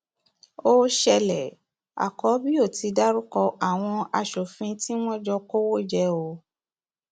ó ṣẹlẹ àkọbío ti dárúkọ àwọn aṣòfin tí wọn jọ kówó jẹ o